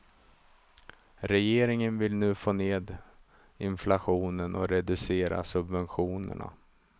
Regeringen vill nu få ned inflationen och reducera subventionerna.